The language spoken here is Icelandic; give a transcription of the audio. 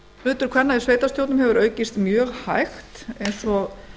hlutur kvenna í sveitarstjórnum hefur aukist mjög hægt eins og